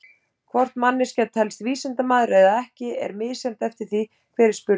Hvort manneskja telst vísindamaður eða ekki er misjafnt eftir því hver er spurður.